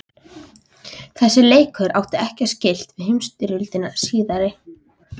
Sá leikur átti ekkert skylt við heimsstyrjöldina síðari.